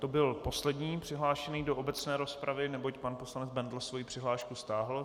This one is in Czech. To byl poslední přihlášený do obecné rozpravy neboť pan poslanec Bendl svoji přihlášku stáhl.